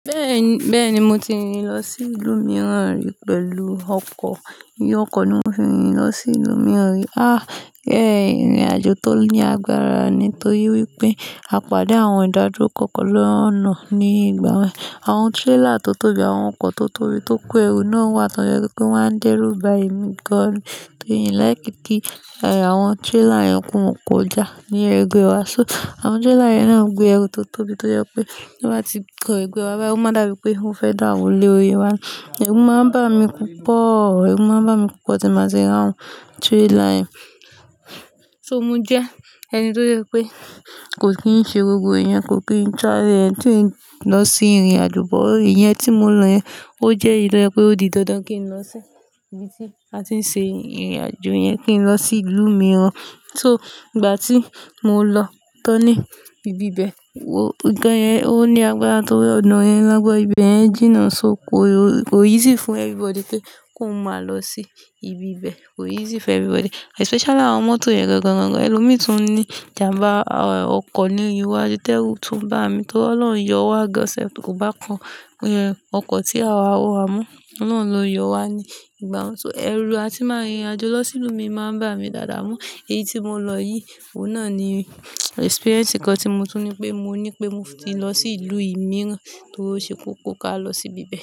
Bẹ́ẹ̀ni, bẹ́ẹ̀ni mo ti rin lọ sí ìlú mìíràn rí pẹ̀lú ọkọ̀. Fi ọkọ̀ ni mo fi rin lọ sí ìlú mìíràn rí. Á! Ẹ̀hẹ́n ìrìnàjò tó ní agbára ni torí wípé a pàdé àwọn ìdádúró kọ̀ọ̀kan lọ́ọ̀kan ní ìgbà wa. Àwọn trailer tó tóbi, àwọn ọkọ̀ tó tóbi tó kó ẹrù náà wà tó jẹ́ pé kí wọ́n dẹ́rù ba emi gan. Torí ẹ̀ n like kí àwọn trailer yẹn kì won kọjá ní ẹgbẹ́ wa. So àwọn trailer yen náà gbé ẹrù tó tóbi tó jẹ́ pé bí wọ́n bá ti kan ẹgbẹ́ wa báyii, ó máa dàbí pé wọn fẹ́ dà wó lórí wa. Ẹrù máa ń bà mí púpọ̀, ẹrù máa ń bà mí púpọ̀ tí ba ti ri àwọn trailer yẹn. So mo jẹ́ ẹni tó jẹ́ pé kò kí n ṣe gbogbo ìyẹn kò kí n tra eh-, kí n lọ sí ìrìnàjò. Ìyẹn tí mo lọ yẹn, ó jẹ́ eyi to je pé ó di dandan kí n lọ sí ibi tí a ti ń ṣe ìrìnàjò yẹn kí n lọ sí ìlú mìíràn. So ìgbà tí mo lọ tán ní ibi bẹ́ẹ̀ wò, nǹkan yẹn ó ní agbára torí ọ̀nà yẹn lágbọ́n ibẹ̀ yẹn jìnnà. So kò, kò easy fún everybody pé kí wọ́n máa lọ sí ibi bẹ́ẹ̀, kò easy fún everybody. Especially àwọn mọ́tò yẹ̀gùn gan gan gan. Ẹ̀ lù mi tún ní ìjàmbá ọkọ̀ ní iwájú tẹ́rú tún bà mí tó lọ ń yọ wá gọ́sẹ̀ kò bá kan ọkọ̀ tí àwa wọ̀ wá mú. Ọlọ́run ló yọ wá ní ìgbà wọn. So ẹrù a ti máa rìnrìnàjò lọ sí ìlú mi máa ń bà mí dáadáa mú. Èyí tí mo lọ yìí, òun náà ni experience kan tí mo tún ní pé mo ní pé mo ti lọ sí ìlú mìíràn tó rí óṣe kókó kí a lọ sí ibi bẹ́ẹ̀